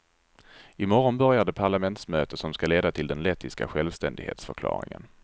I morgon börjar det parlamentsmöte som ska leda till den lettiska självständighetsförklaringen.